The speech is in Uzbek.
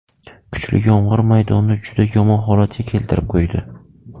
Kuchli yomg‘ir maydonni juda yomon holatga keltirib qo‘ydi.